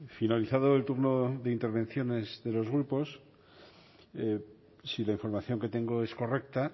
finalizado el turno de intervenciones de los grupos si la información que tengo es correcta